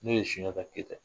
Ne'o ye Sunjata kɛyita ye